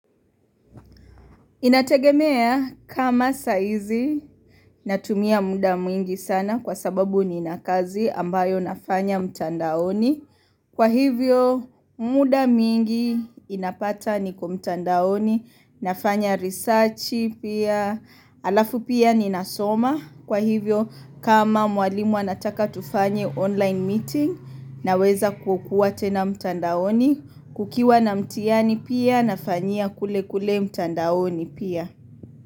Inategemea kama saa izi natumia muda mwingi sana kwa sababu ni na kazi ambayo nafanya mtandaoni. Kwa hivyo muda mwingi inapata niko mtandaoni nafanya researchi pia alafu pia ni nasoma. Kwa hivyo kama mwalimu anataka tufanye online meeting na weza kukua tena mtandaoni kukiwa na mtihani pia nafanyia kule kule mtandaoni pia.